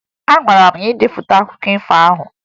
Agwara m gị depụta akụkọ ifo ahụ!